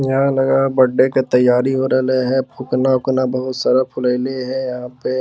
यहाँ लगा है बर्थडे के तैयारी हो रहलै हे | फुकना उकना बहुत सारा फुलैले है यहाँ पे --